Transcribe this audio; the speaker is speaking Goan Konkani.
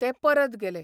ते परत गेले.